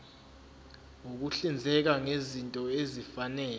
ukuhlinzeka ngezinto ezifanele